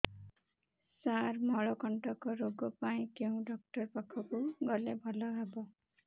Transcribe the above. ସାର ମଳକଣ୍ଟକ ରୋଗ ପାଇଁ କେଉଁ ଡକ୍ଟର ପାଖକୁ ଗଲେ ଭଲ ହେବ